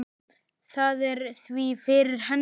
Það er því fyrir hendi.